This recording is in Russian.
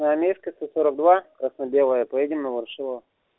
заметка красно-белое поедем на ворошилова